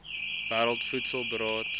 wêreld voedsel beraad